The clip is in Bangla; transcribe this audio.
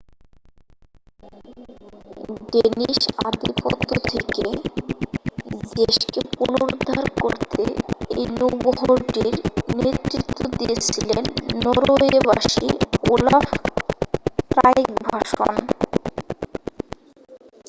ডেনিশ আধিপত্য থেকে দেশকে পুনরুদ্ধার করতে এই নৌবহরটির নেতৃত্ব দিয়েছিলেন নরওয়েবাসী ওলাফ ট্রাইগভাসন